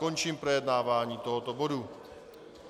Končím projednávání tohoto bodu.